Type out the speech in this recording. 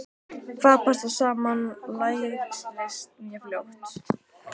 Hvað passar saman lærist mjög fljótt.